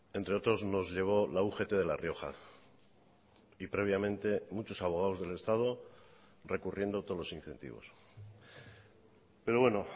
entre otros nos llevó la ugt de la rioja y previamente muchos abogados del estado recurriendo todos los incentivos pero bueno